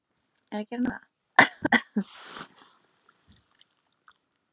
Sem heimilishundur og varðhundur í senn jafnast sjálfsagt fáir hundar á við Tosa Inu.